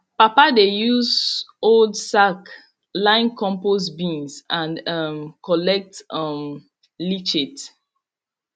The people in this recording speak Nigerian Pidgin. papa dey use old sack line compost bins and um collect um leachate